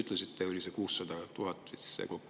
Te vist ütlesite, et see kokkuhoid oli 600 000 eurot.